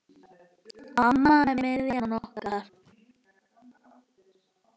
Amma er miðjan okkar.